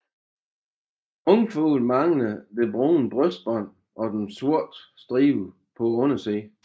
Ungfugle mangler det brune brystbånd og den sorte stribe på undersiden